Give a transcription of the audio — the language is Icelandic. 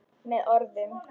Með orðum.